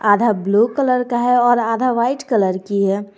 आधा blue colour का है और आधा व्हाइट कलर की है।